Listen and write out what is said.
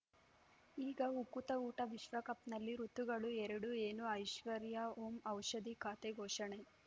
ಈಗ ಉಕುತ ಊಟ ವಿಶ್ವಕಪ್‌ನಲ್ಲಿ ಋತುಗಳು ಎರಡು ಏನು ಐಶ್ವರ್ಯಾ ಓಂ ಔಷಧಿ ಖಾತೆ ಘೋಷಣೆ